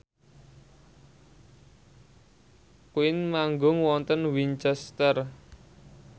Queen manggung wonten Winchester